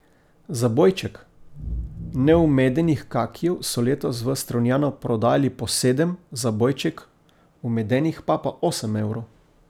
Zabojček neumedenih kakijev so letos v Strunjanu prodajali po sedem, zabojček umedenih pa po osem evrov.